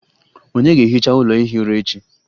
Ònye ga-ehicha ụlọ ihi ụra echi?